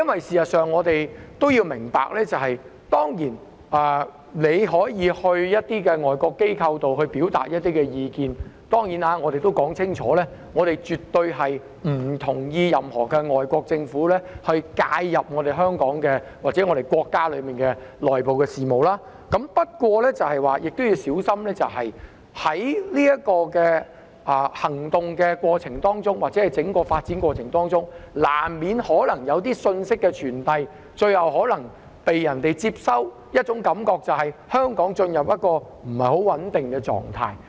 事實上，我們明白示威者當然可以向外國機構表達意見——我亦須清楚表明，我們絕對不認同任何外國政府介入香港或國家的內部事務——不過，我們要小心在這個行動或整個發展的過程中，可能難免傳遞了某些信息，最後予人的感覺可能是香港進入了一個不太穩定的狀態。